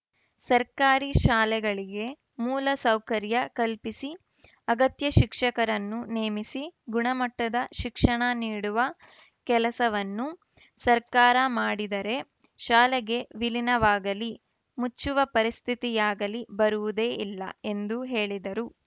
ಸರ್ಕಾರಿ ಶಾಲೆಗಳಿಗೆ ಮೂಲ ಸೌಕರ್ಯ ಕಲ್ಪಿಸಿ ಅಗತ್ಯ ಶಿಕ್ಷಕರನ್ನು ನೇಮಿಸಿ ಗುಣಮಟ್ಟದ ಶಿಕ್ಷಣ ನೀಡುವ ಕೆಲಸವನ್ನು ಸರ್ಕಾರ ಮಾಡಿದರೇ ಶಾಲೆಗಳ ವಿಲಿ ನವಾಗಲೀ ಮುಚ್ಚುವ ಪರಿಸ್ಥಿತಿಯಾಗಲೀ ಬರುವುದೇ ಇಲ್ಲ ಎಂದು ಹೇಳಿದರು